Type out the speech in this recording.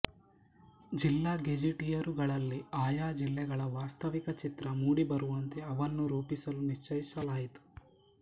ಜಿಲ್ಲಾ ಗೆಜ಼ಿಟಿಯರುಗಳಲ್ಲಿ ಆಯಾ ಜಿಲ್ಲೆಗಳ ವಾಸ್ತವಿಕ ಚಿತ್ರ ಮೂಡಿಬರುವಂತೆ ಅವನ್ನು ರೂಪಿಸಲು ನಿಶ್ಚಯಿಸಲಾಯಿತು